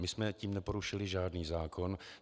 My jsme tím neporušili žádný zákon.